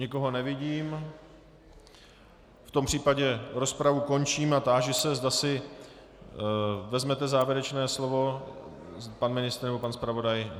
Nikoho nevidím, v tom případě rozpravu končím a táži se, zda si vezmete závěrečné slovo - pan ministr nebo pan zpravodaj.